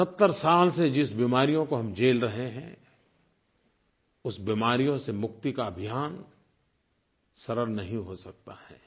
70 साल से जिस बीमारियों को हम झेल रहे हैं उस बीमारियों से मुक्ति का अभियान सरल नहीं हो सकता है